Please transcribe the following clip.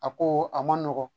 A ko a man nɔgɔn